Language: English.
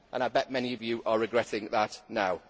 I bet many of you are regretting that now.